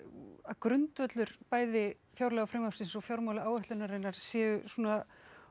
grundvöllur bæði fjárlagafrumvarpsins og séu svona